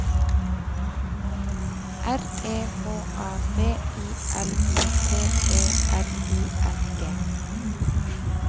R E H A B I L I T E R I N G